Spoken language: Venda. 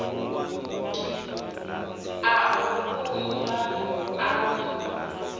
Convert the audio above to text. a u vhumba na u